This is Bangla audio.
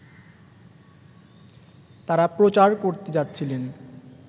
তাঁরা প্রচার করতে যাচ্ছিলেন